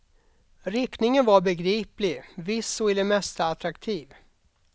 Riktningen var begriplig, viss och i det mesta attraktiv.